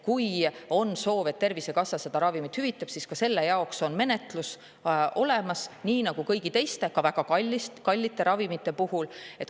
Kui on soov, et Tervisekassa selle ravimi hüvitaks, siis on ka selle jaoks olemas menetlus, nii nagu kõigi teiste, ka väga kallite ravimite puhul.